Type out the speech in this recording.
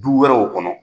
Du wɛrɛw kɔnɔ